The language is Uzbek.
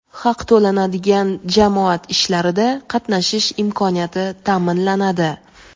haq to‘lanadigan jamoat ishlarida qatnashish imkoniyati taʼminlanadi.